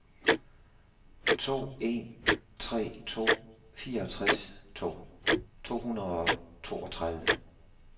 to en tre to fireogtres to hundrede og toogtredive